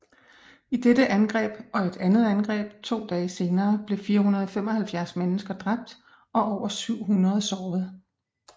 I dette angreb og et andet angreb to dage senere blev 475 mennesker dræbt og over 700 såret